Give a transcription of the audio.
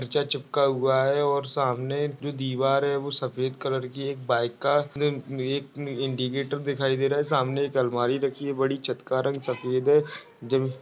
Picture चिपका हुआ है और सामने जो दीवार है वो सफेद कलर की एक बाइका अ म अ एक इन्डकैटर दिखाई दे रहा है। सामने एक अलमारी रखी हुई है बड़ी। छत का रंग सफेद है ज --